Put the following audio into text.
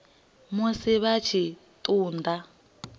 musi vha tshi ṱun ḓa